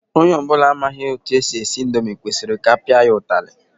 Onye ọbụla na-amaghị etu e si esi indomi kwesịrị ka a pịa ya ụtalị.